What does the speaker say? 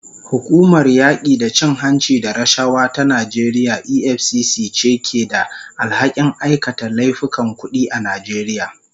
Hukumar yaki da cin hanci da rashawa ta Najeriya EFCC ce ke da alhakin aikata laifukan kudi a Najeriya.